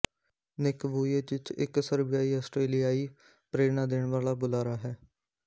ਨਿੱਕ Vujicic ਇੱਕ ਸਰਬਿਆਈ ਆਸਟਰੇਲੀਆਈ ਪ੍ਰੇਰਨਾ ਦੇਣ ਵਾਲਾ ਬੁਲਾਰਾ ਹੈ